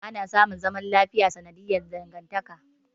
Ana samun zaman lafiya sanadiyar dangantaka.